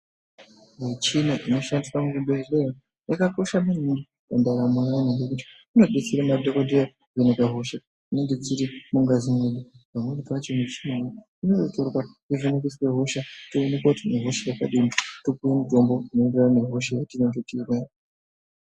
Michina inoshandiswa muzvibhedhleya yakakosha maningi mundaramo yanhu ngekuti inodetsere madhokodheya kuvheneka hodha dzinenge dziri mungazi mwedu pamweni pavho mivhina iyi inenge itori pakuvhenekeswa hosha toonekwa kuti tine hodha yakadini topuwa mutombo unoenderana nehosha yatinayo.